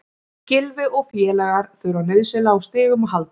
Gylfi og félagar þurfa nauðsynlega á stigum að halda.